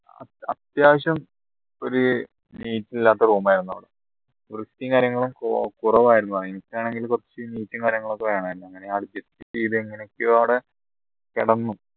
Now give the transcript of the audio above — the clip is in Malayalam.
അത്യാവശ്യം ഒരു neat ഇല്ലാത്ത room ആയിരുന്നു വൃത്തിയും കാര്യങ്ങളൊക്കെ കുറവായിരുന്നു എനിക്കാണെങ്കിൽ കുറച്ച് വൃത്തിയും കാര്യങ്ങളും വേണായിരുന്നു adjust എങ്ങനെയൊക്കെയോ അവിടെ കിടന്നു